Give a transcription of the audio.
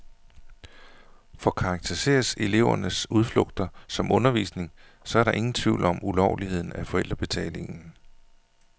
For karakteriseres elevernes udflugter som undervisning, så er der ingen tvivl om ulovligheden af forældrebetalingen.